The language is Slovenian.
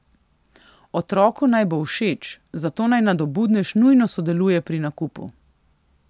Otroku naj bo všeč, zato naj nadobudnež nujno sodeluje pri nakupu.